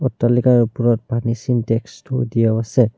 অট্টালিকাৰ ওপৰত পানীৰ ছিনটেক্সটো থৈ দিয়া আছে।